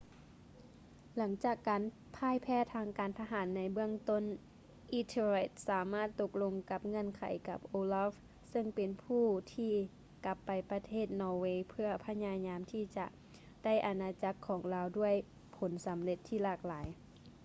ຫຼັງຈາກການຜ່າຍແພ້ທາງການທະຫານໃນເບື້ອງຕົ້ນ ethelred ສາມາດຕົກລົງກັບເງື່ອນໄຂກັບ olaf ເຊິ່ງເປັນຜູ້ທີ່ກັບໄປປະເທດນໍເວເພື່ອພະຍາຍາມທີ່ຈະໄດ້ອານາຈັກຂອງລາວດ້ວຍຜົນສຳເລັດທີ່ຫຼາກຫຼາຍ